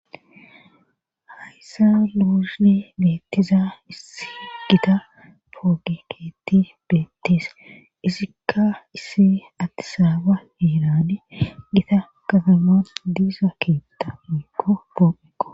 Hayssa luusni beettiza issi gita pooge keetti beettees isikka issi adtisaaba heerani gita kazaman diisa keetta mikko pooiqo